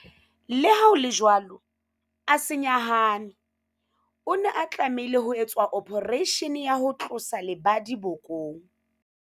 Leha ho le jwalo, a se nyahame. O ne a tlameha ho etswa ophareishene ya ho tlosa lebadi bokong.